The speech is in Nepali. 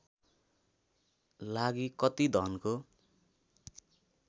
लागि कति धनको